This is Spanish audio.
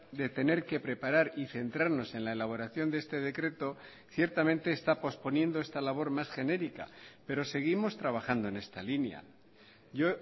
de tener que preparar y centrarnos en la elaboración de este decreto ciertamente está posponiendo esta labor más genérica pero seguimos trabajando en esta línea yo